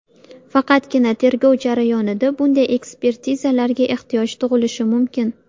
Faqatgina tergov jarayonida bunday ekspertizalarga ehtiyoj tug‘ilishi mumkin.